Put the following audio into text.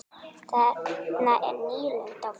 Þarna er nýlunda á ferð.